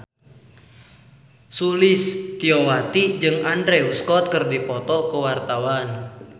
Sulistyowati jeung Andrew Scott keur dipoto ku wartawan